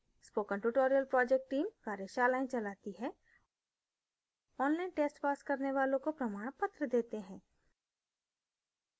spoken tutorial project team कार्यशालाएं चलाती है online test pass करने वालों को प्रमाणपत्र देते हैं